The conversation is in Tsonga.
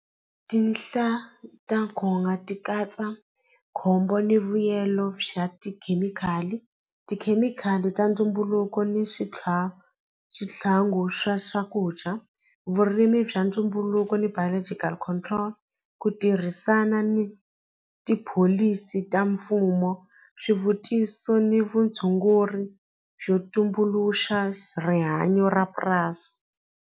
Tinhla ta khonga ti katsa khombo ni vuyelo bya tikhemikhali tikhemikhali ta ntumbuluko ni xitlhangu swa swakudya vurimi bya tumbuluko ni bilogical control ku tirhisana ni tipholisi ta mfumo swivutiso ni vutshunguri byo tumbuluxa rihanyo ra purasi.